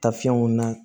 Tafiyɛnw na